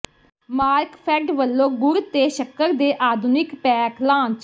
ਮਾਰਕਫੈੱਡ ਵੱਲੋਂ ਗੁੜ ਤੇ ਸ਼ੱਕਰ ਦੇ ਆਧੁਨਿਕ ਪੈਕ ਲਾਂਚ